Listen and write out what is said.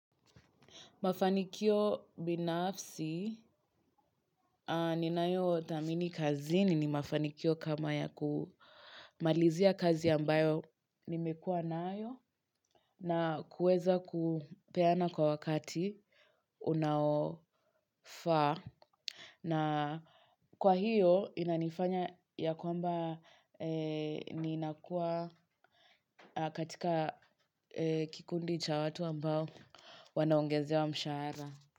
Mafanikio binafsi ninayothamini kazini ni mafanikio kama ya kumalizia kazi ambayo nimekuwa nayo na kuweza kupeana kwa wakati unaofaa. Na kwa hiyo inanifanya ya kwamba ninakua katika kikundi cha watu ambao wanaongezewa mshahara.